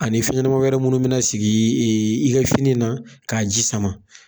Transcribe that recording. Ani fiɲɛ ɲɛnama wɛrɛ minnu bɛna sigi i ka fini na k'a ji sama